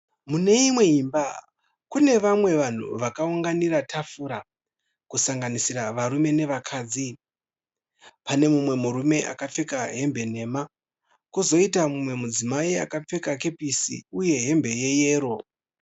Mune imwe imba. Kune vamwe vanhu vakaunganira tafura kusanganisira varume nevakadzi. Pane mumwe murume akapfeka hembe nhema kozoita mumwe mudzimai akapfeka kepisi uye hembe yeyero.